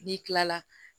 N'i kilala